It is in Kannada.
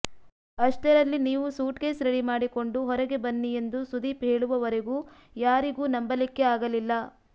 ಅಷ್ಟರಲ್ಲಿ ನೀವು ಸೂಟ್ ಕೇಸ್ ರೆಡಿ ಮಾಡಿಕೊಂಡು ಹೊರಗೆ ಬನ್ನಿ ಎಂದು ಸುದೀಪ್ ಹೇಳುವವರೆಗೂ ಯಾರಿಗೂ ನಂಬಲಿಕ್ಕೇ ಆಗಲಿಲ್ಲ